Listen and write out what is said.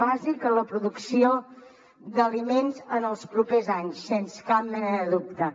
bàsic en la producció d’aliments en els propers anys sens cap mena de dubte